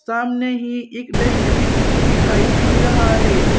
सामने ही एक डस्टबिन भी दिखाई दे रहा है।